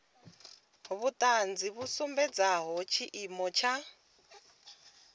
vhuṱanzi vhu sumbedzaho tshiimo tsha